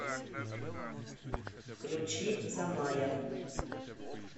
включи замая